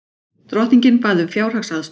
Drottningin bað um fjárhagsaðstoð